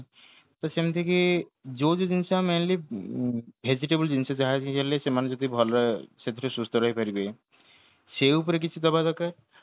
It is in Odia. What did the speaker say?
ତ ସେମିତି କି ଯୋଉବି ଜିନିଷ mainly vegetable ଜିନିଷ ଯାହା ବି ହେଲେ ସେମାନେ ସେଥିର ଭଲରେ ସେଥିରେ ସୁସ୍ଥ ରହି ପାରିବେ ସେଇ ଉପରେ କିଛି ଦବା ଦରକାର